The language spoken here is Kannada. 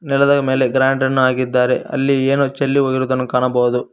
ನೆಲದ ಮೇಲೆ ಗ್ರಾಂಡ ಅನ್ನು ಹಾಕಿದ್ದಾರೆ ಅಲ್ಲಿ ಏನೋ ಚೆಲ್ಲಿ ಹೋಗಿರುದನ್ನು ಕಾಣಬಹುದು.